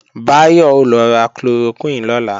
Báyọ̀ ó lọ ra chloroquine lọ́la